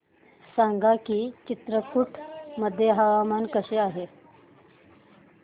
सांगा की चित्रकूट मध्ये हवामान कसे आहे